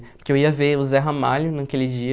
Porque eu ia ver o Zé Ramalho naquele dia.